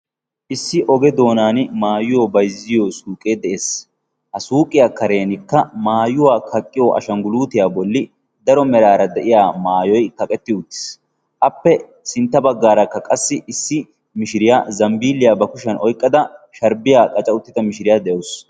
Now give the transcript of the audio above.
Issi oge doonan maayuwa bayzziyo suyqee de"es. Ha suuqiya kareenikka maayuwa kaqqiyo ashangguluutiya bolli daro meraara de"iya masyoyi kaqetti uttis. Appe sintta baggaarakka qassi issi mishiriya zambbiilliya ba kushiya oyqqada sharbbiya qaca uttida mishiriya de"awus.